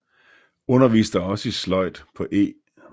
Underviste også i sløjd på E